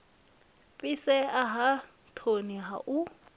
fhisea ha thomi ha u